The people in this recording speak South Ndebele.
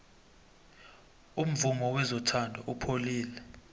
umvumo wezothando upholile